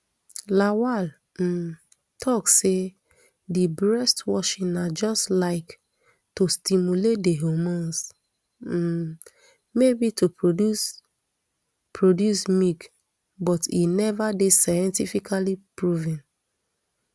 lawal um tok say di breast washing na just like to stimulate di hormones um maybe to produce produce milk but e neva dey scientifically proven